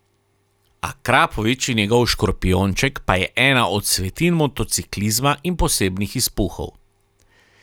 Akrapovič in njegov škorpijonček pa je ena od svetinj motociklizma in posebnih izpuhov.